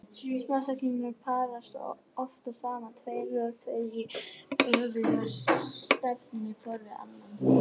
Smá-seglarnir parast oftast saman tveir og tveir í öfuga stefnu hvor við annan.